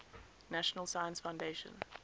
national science foundation